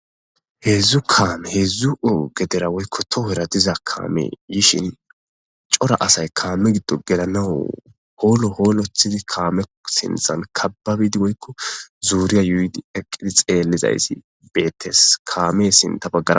heedzdzu kaame heedzdzu oo gedera woykko tohoera diza kaame yishin cora asay kaame giddo gelanawu hoolo hoolothidi kaame sinzan kababidi woykko zuuriya yuhuudi eqqidi xeellizayssi beettes kaame sinta baggar